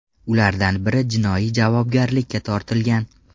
Ulardan biri jinoiy javobgarlikka tortilgan.